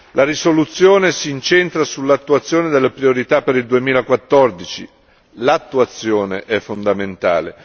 La risoluzione si incentra sull'attuazione delle priorità per il 2014 l'attuazione è fondamentale